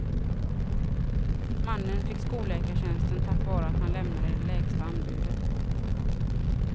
Mannen fick skolläkartjänsten tack vare att han lämnade det lägsta anbudet.